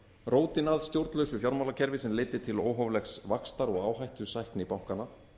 rótin að stjórnlausu fjármálakerfi sem leiddi til óhóflegs vaxtar og áhættusækni bankanna